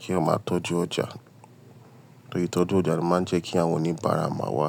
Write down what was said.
Kí èyàn máa tọ́jú ọjà, torí itọju jú ọjà ló máa ń jẹ́ kí àwọn oníbàárà máa wá.